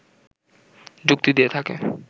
যুক্তি দিয়ে থাকে